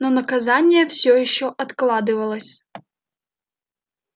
но наказание всё ещё откладывалось